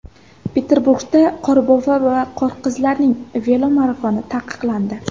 Peterburgda Qorbobo va Qorqizlarning velomarafoni taqiqlandi.